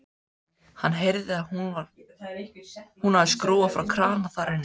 Hann heyrði að hún hafði skrúfað frá krana þar inni.